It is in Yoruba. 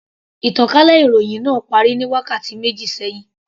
Ìtànkálẹ̀ ìròhìn náà parí ní wákàtí méjì sẹ́hìn.